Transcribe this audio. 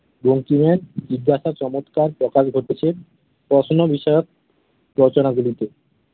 বঙ্কিমের জিজ্ঞাসার চমৎকার প্রকাশ ঘটেছে প্রশ্ন বিষয়ক রচনাগুলিতে